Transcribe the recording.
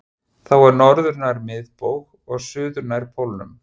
Þá er norður nær miðbaug og suður nær pólnum.